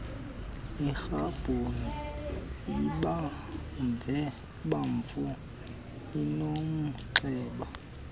iribhoni ebomvu enomnxeba